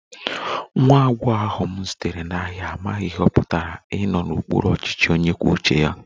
Nwa agbọghọ ahụ m zutere n'ahịa amaghị ihe ọ pụtara ịnọ n'okpuru ọchịchị onye kwuo uche ya